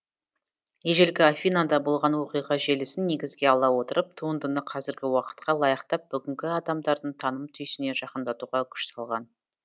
ежелгі афинада болған оқиға желісін негізге ала отырып туындыны қазіргі уақытқа лайықтап бүгінгі адамдардың таным түйсігіне жақындатуға күш салған